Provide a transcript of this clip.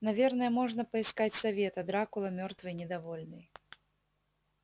наверное можно поискать совета дракула мёртвый недовольный